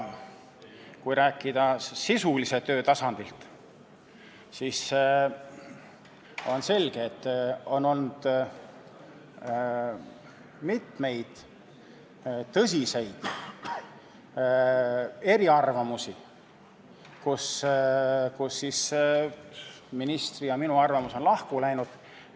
Kui rääkida sisulise töö tasandist, siis on selge, et on olnud mitmeid tõsiseid eriarvamusi, ministri ja minu arvamus on lahku läinud.